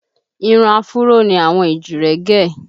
Irun afuró ni àwọn èjìrẹ́ gẹ̀